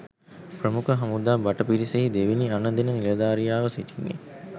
ප්‍රමුඛ හමුදා භට පිරිසෙහි දෙවෙනි අණ දෙන නිලධාරියාව සිටින්නේ.